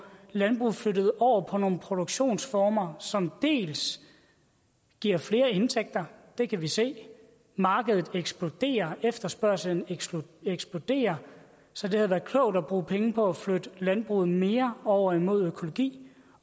landbruget flyttet over på nogle produktionsformer som giver flere indtægter vi kan se at markedet eksploderer efterspørgslen eksploderer så det havde været klogt at bruge penge på at flytte landbruget mere over mod økologi